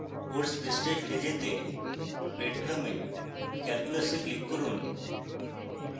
course পৃষ্ঠায় ফিরে যেতে breadcrumb এ calculus এ click করুন